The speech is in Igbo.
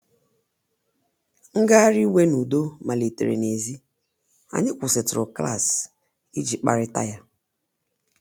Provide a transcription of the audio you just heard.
Ngagharị iwe n’udo malitere n’èzí, anyị kwụsịtụrụ klaasị iji kparịta ya.